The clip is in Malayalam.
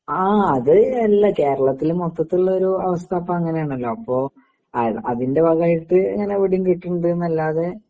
ആ അത് എല്ല കേരളത്തില് മൊത്തത്തുള്ളോരു അവസ്ഥപ്പങ്ങനാണല്ലോ അപ്പൊ ആ അതിൻ്റെ ഭാഗവായിട്ട് ഇങ്ങനെ വിടെം കിട്ടണ്ട്ന്നല്ലാതെ